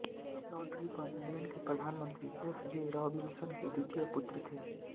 Lord Ripon England के प्रधानमंत्री F J Robinson के द्वितीय पुत्र थे